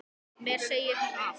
Mér segir hún allt